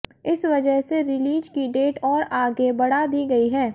इस वजह से रिलीज की डेट और आगे बढ़ा दी गई है